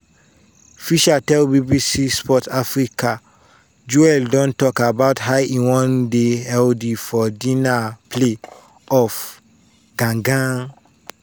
fisher tell bbc sport africa "joel don tok about how e wan dey healthy for di na play-off gan-gan.